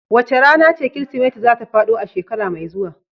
Wace rana ce Kirsimeti za ta faɗo a shekara mai zuwa?